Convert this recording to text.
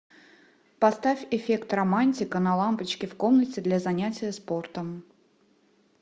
поставь эффект романтика на лампочке в комнате для занятия спортом